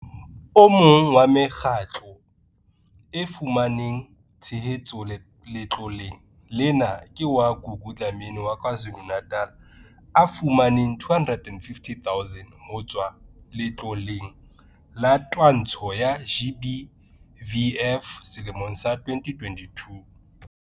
O mong wa mekgatlo e fumaneng tshehetso letloleng lena ke wa Gugu Dlamini wa KwaZulu-Natal o fumaneng R250 000 ho tswa Letloleng la Twantsho ya GBVF selemong sa 2022.